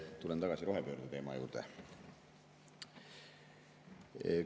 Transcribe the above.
Tulen tagasi rohepöörde teema juurde.